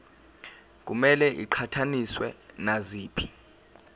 kumele iqhathaniswe naziphi